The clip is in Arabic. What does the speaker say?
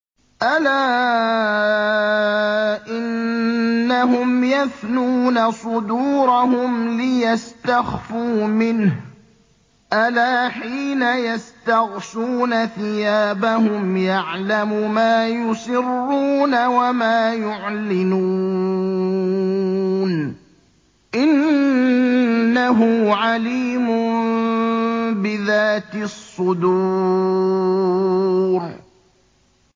أَلَا إِنَّهُمْ يَثْنُونَ صُدُورَهُمْ لِيَسْتَخْفُوا مِنْهُ ۚ أَلَا حِينَ يَسْتَغْشُونَ ثِيَابَهُمْ يَعْلَمُ مَا يُسِرُّونَ وَمَا يُعْلِنُونَ ۚ إِنَّهُ عَلِيمٌ بِذَاتِ الصُّدُورِ